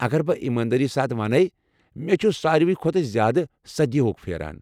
اگر بہٕ یماندٲری سان ونہٕ ، مے٘ چھُ ساروٕے کھۄتہٕ زیادٕ سدیا ہُک پھیران۔